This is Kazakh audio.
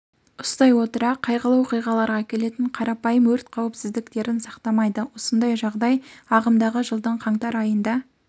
ұстай отыра қайғылы оқиғаларға әкелетін қарапайым өрт қауіпсіздіктерін сақтамайды осындай жағдай ағымдағы жылдың қаңтар айында